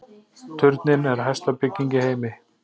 Turninn er hæsta bygging í heimi